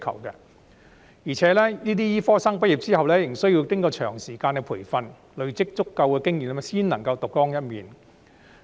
而且，這些醫科生畢業之後，仍需要經過長時間培訓，累積足夠經驗才能夠獨當一面。